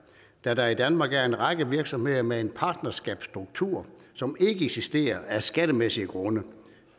da der i danmark er en række virksomheder med en partnerskabsstruktur som ikke eksisterer af skattemæssige grunde